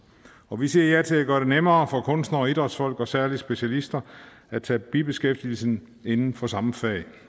og vi siger ja til at gøre det nemmere for kunstnere og idrætsfolk og særlige specialister at tage bibeskæftigelse inden for samme fag